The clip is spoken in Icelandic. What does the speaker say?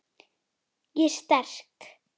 Ég er sterk.